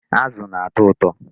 Azụ na-atọ ụtọ.